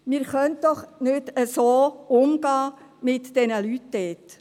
Wir können doch mit diesen Leuten dort nicht so umgehen!